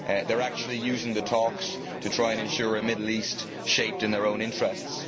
They are actually using the talks to try and ensure a Middle East shaped in their own interests.